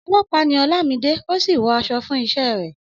Ọlọ́pàá ni Olamide, ó sì wọ aṣọ fún iṣẹ́ rẹ̀.